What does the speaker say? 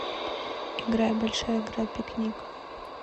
играй большая игра пикник